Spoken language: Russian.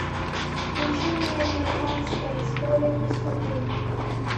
включи мне американская история преступлений